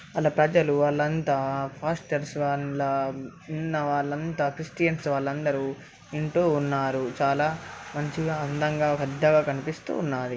వాళ్ళ పెద్దలు వాళ్ళంతా పాస్టర్లు అందులో ఉన్న వాళ్లంతా క్రిస్టియన్స్ వాళ్ళందరూ వింటూ ఉన్నాచాలా మంచిగా అందంగా పెద్దగా కనిపిస్తూ ఉన్నదీ.